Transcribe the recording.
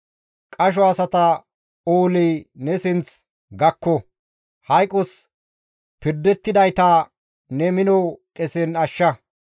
Qasho asata ooley ne sinth gakko; Hayqos pirdettidayta ne mino qesen ashsha.